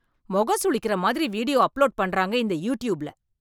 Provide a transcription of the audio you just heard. மொகம் சுளிக்கிற மாதிரி video upload பண்றாங்க இந்த யூ டியுப்பில்ல.